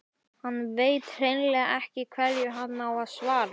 Hann veit hreinlega ekki hverju hann á að svara.